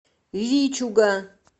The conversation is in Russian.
вичуга